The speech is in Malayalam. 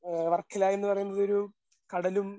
ആ വർക്കല എന്ന് പറയുന്നത് ഒരു കടലും